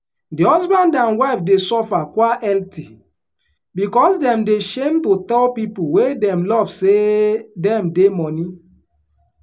di husband and wife dey suffer quielty because dem dey shame to tell people wey dem love say dem dey money.